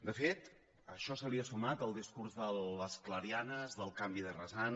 de fet a això se li ha sumat el discurs de les clarianes del canvi de rasant